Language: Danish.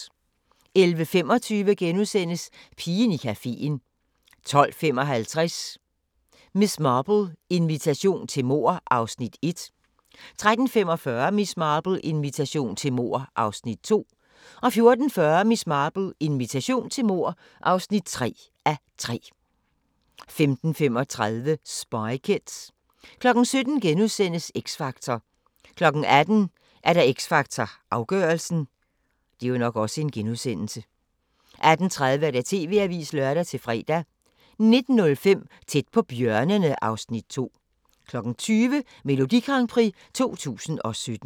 11:25: Pigen i cafeen * 12:55: Miss Marple: Invitation til mord (1:3) 13:45: Miss Marple: Invitation til mord (2:3) 14:40: Miss Marple: Invitation til mord (3:3) 15:35: Spy Kids 17:00: X Factor * 18:00: X Factor Afgørelsen 18:30: TV-avisen (lør-fre) 19:05: Tæt på bjørnene (Afs. 2) 20:00: Melodi Grand Prix 2017